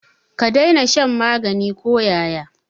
Ka daina shan magani ko yaya.